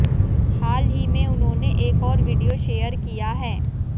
हाल ही में उन्होंने एक और वीडियो शेयर किया हैं